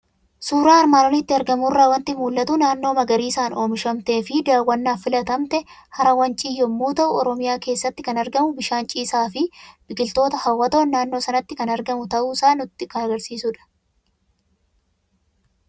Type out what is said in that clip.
Suuraa armaan olitti argamu irraa waanti mul'atu; naannoo magariisan oomishamteefi daawwannaaf filatamte "Hara Wancii" yommuu ta'u, oromiyaa keessatti kan argamu bishaan ciisaafi biqiltoota hawwatoon naannoo sanatti kan argamu ta'uusaa nutti kan agarsiisudha.